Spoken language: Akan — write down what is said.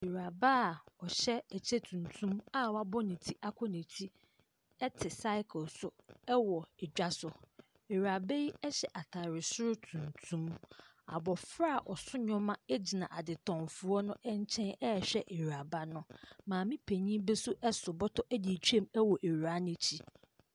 Awuraba a ɔhyɛ ɛkyɛ tuntum a wabɔ ne ti akɔ na akyi ɛte saekle so ɛwɔ ɛdwa so. Awuraba yi ɛhyɛ ataade soro tuntum. Abofra a ɔso neɛma ɛgyina adetɔn foɔ ne nkyɛn ɛɛhwɛ awuraba no. Maame panin bi nso ɛso bɔtɔ ɛde atwam ɛwɔ awuraa no akyi.